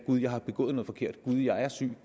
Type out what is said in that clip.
jeg har begået noget forkert jeg er syg